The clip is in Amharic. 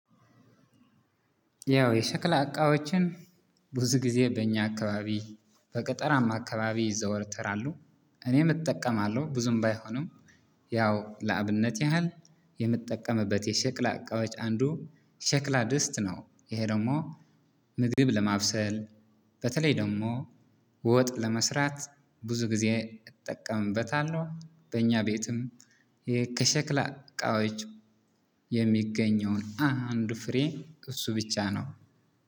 ያው የሸክላ እቃዎችን ብዙ ጊዜ በእኛ አካባቢ በገጠራማ አካባቢ ይዘወተራሉ እኔም እጠቀማለሁ ብዙም ባይሆንም ያው ለአብነት ያህል የምጠቀምበት የሸክላ እቃዎች አንዱ ሸክላ ድስት ነው። ይሄ ደግሞ ምግብ ለማብሰል በተለይ ደግሞ ወጥ ለመስራት ብዙ ጊዜ እጠቀምበታለው። በኛ ቤትም ይሄ ከሸክላ እቃዎች የሚገኘው አንድ ፍሬ እሱ ብቻ ነው